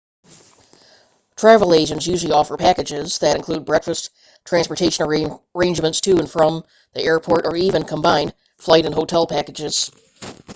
travel agents usually offer packages that include breakfast transportation arrangements to/from the airport or even combined flight and hotel packages